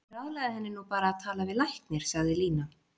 Ég ráðlagði henni nú bara að tala við læknir, sagði Lína.